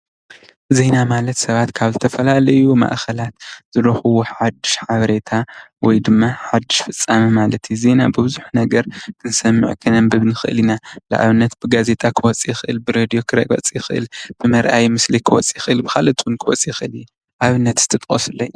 ዜና ማለት ሰባት ካብ ዝተፈላለዩ ማእኸላት ዝረክብዎ ሓዱሽ ሓበሬታ ወይድማ ሓዱሽ ፍፃመ ማለት እዩ ። ዜና ብብዙሕ ነገር ክንሰምዕ ክነንብብ ንኽእል ኢና ።ንኣብነት ብጋዜጣ ክወፅእ ይኽእል ብሬድዮ ክወፅእ ይኽእል ብምርኣይ ምስሊ ክወፅእ ይኽእል ብካልኦት እውን ክወፅእ ይኽእል እዩ ።ኣብነት እስቲ ጥቀሱለይ?